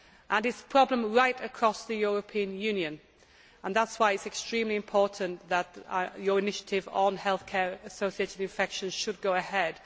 It is a problem right across the European Union, and that is why it is extremely important that your initiative on health care associated infections should go ahead.